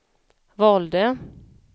valde